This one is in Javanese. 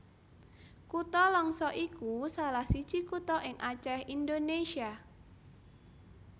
Kutha Langsa iku salah siji kutha ing Acèh Indonésia